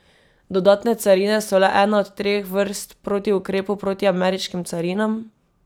Dodatne carine so le ena od treh vrst protiukrepov proti ameriškim carinam.